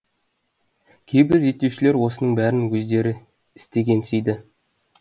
кейбір зерттеушілер осының бәрін өздері істегенсиді